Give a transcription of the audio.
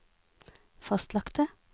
fastlagte